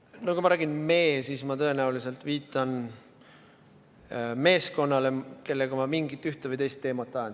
No kui ma kasutan sõna "me", siis ma tõenäoliselt viitan meeskonnale, kellega ma ühte või teist teemat ajan.